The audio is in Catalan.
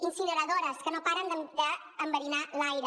incineradores que no paren d’enverinar l’aire